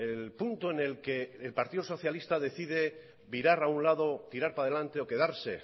el punto en el que el partido socialista decide virar a un lado tirar para delante o quedarse